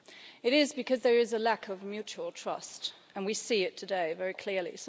It is because there is a lack of mutual trust and we see that today very clearly.